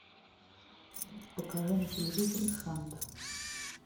покажи на телевизоре шант